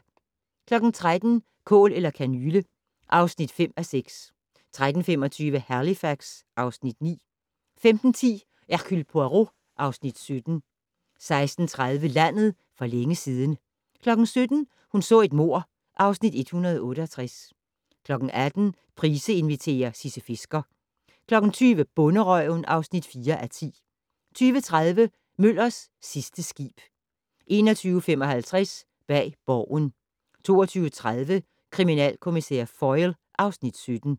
13:00: Kål eller kanyle (5:6) 13:25: Halifax (Afs. 9) 15:10: Hercule Poirot (Afs. 17) 16:30: Landet for længe siden 17:00: Hun så et mord (Afs. 168) 18:00: Price inviterer - Sisse Fisker 20:00: Bonderøven (4:10) 20:30: Møllers sidste skib 21:55: Bag Borgen 22:30: Kriminalkommissær Foyle (Afs. 17)